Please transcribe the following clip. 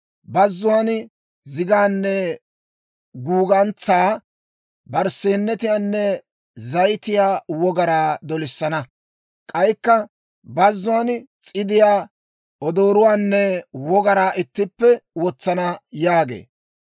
Bazzuwaan zigaanne guugantsaa, barsseenetiyaanne zayitiyaa wogaraa dolissana. K'aykka bazzuwaan s'idiyaa, odooruwaanne wogaraa ittippe wotsana yaagee.